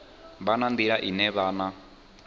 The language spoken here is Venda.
vha na nḓila ine vhana